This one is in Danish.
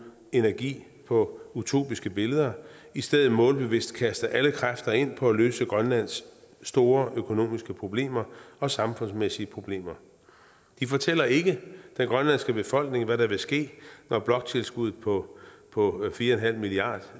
energi på utopiske billeder i stedet målbevidst kaste alle kræfter ind på at løse grønlands store økonomiske problemer og samfundsmæssige problemer de fortæller ikke den grønlandske befolkning hvad der vil ske når bloktilskuddet på på fire milliard